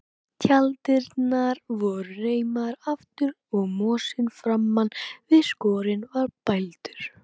Tjalddyrnar voru reimaðar aftur og mosinn framan við skörina var bældur.